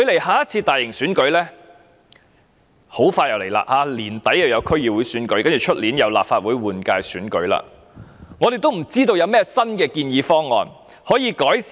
下次大型選舉將至，今年年底將有區議會選舉，明年則有立法會換屆選舉，我們仍不知道有何新建議方案可作改善。